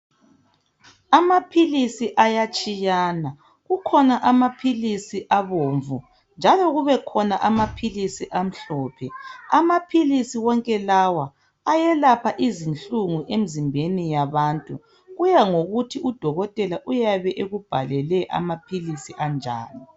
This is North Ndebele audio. Amaphilisi ayatshiyana kukhona amaphilisi abomvu njalo kube khona amaphilisi amhlophe. Amaphilisi wonke lawa ayelapha izinhlungu emzimbeni yabantu kuya ngokuthi udokotela uyabe ekubhalele amaphilisi anjani.